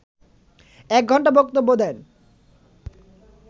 এক ঘণ্টা বক্তব্য দেন